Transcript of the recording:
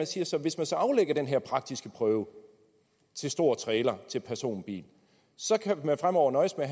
siges at hvis man så aflægger den her praktiske prøve til stor trailer til personbil så kan man fremover nøjes med